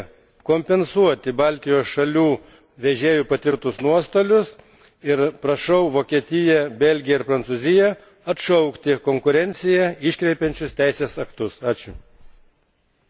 Raginu Komisiją kompensuoti Baltijos šalių vežėjų patirtus nuostolius ir prašau Vokietiją, Belgiją ir Prancūziją atšaukti konkurenciją iškreipiančius teisės aktus.